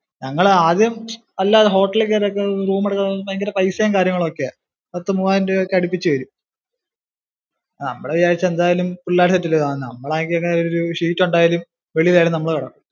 ഞങ്ങൾ ആദ്യം അല്ലാതു hotel ഇൽ കയറി room ഒക്കെ എടുക്കുന്നതിന് ഭയങ്കര പൈസേം കാര്യങ്ങളും ഒക്കെയാ, പത്തു മുവ്വായിരം രൂപക്ക് അടുപ്പിച്ചു വരും നമ്മള് വിചാരിച്ച എന്തായാലും പിള്ളാര് set അല്ലിയോ നമ്മൾ ആകെയൊരു sheet ഉണ്ടായാലും വെളിയിൽ ആയാലും നമ്മള് കിടക്കും.